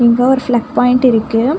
இங்க ஒரு plug point இருக்கு.